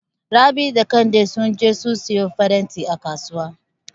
Rabi da Kande sun je su siyo farantai a Kasuwa.